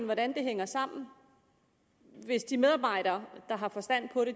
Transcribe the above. hvordan det hænger sammen hvis de medarbejdere der har forstand på det